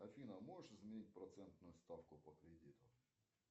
афина можешь изменить процентную ставку по кредиту